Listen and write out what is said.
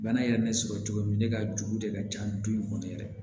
Bana yɛrɛ ne sɔrɔ cogo min ne ka jogo de ka ca ni du in kɔnɔ yɛrɛ